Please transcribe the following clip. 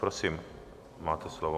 Prosím, máte slovo.